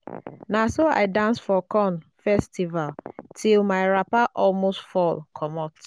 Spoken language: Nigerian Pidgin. na so i dance for corn festival till my wrapper almost fall comot.